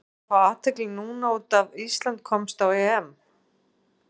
Er hann að fá athygli núna út af Ísland komst á EM?